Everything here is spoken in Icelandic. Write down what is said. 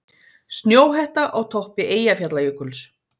Snjóhetta á toppi Eyjafjallajökuls